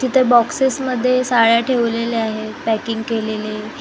तिथे बॉक्सेसमध्ये साड्या ठेवलेल्या आहेत पॅकिंग केलेले .